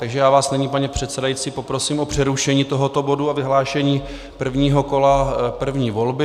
Takže já vás nyní, pane předsedající, poprosím o přerušení tohoto bodu a vyhlášení prvního kola první volby.